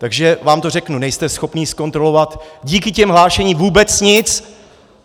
Takže vám to řeknu: Nejste schopni zkontrolovat díky těm hlášením vůbec nic!